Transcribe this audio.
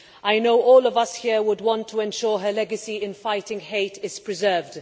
I know all of us here would want to ensure that her legacy in fighting hate is preserved.